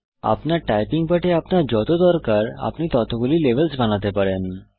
আপনার টাইপিং পাঠে আপনার যত দরকার আপনি ততগুলি লেভেলস বানাতে পারেন